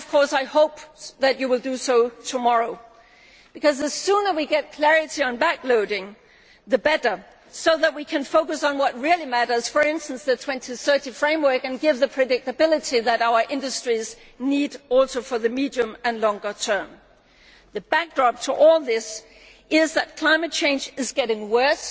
I hope that you will do so tomorrow, because the sooner we get clarity on backloading the better, so that we can focus on what really matters for instance, the 2030 framework and deliver the predictability that our industries also need for the medium and longer term. The backdrop to all this is that climate change is getting worse.